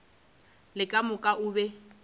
le ka moka o be